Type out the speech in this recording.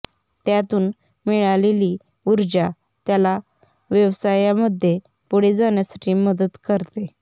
त्यातून मिळालेली ऊर्जा त्याला व्यवसायामध्ये पुढे जाण्यासाठी मदत करते